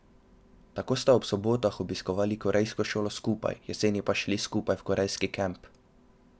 Tako sta ob sobotah obiskovali korejsko šolo skupaj, jeseni pa šli skupaj v korejski kamp.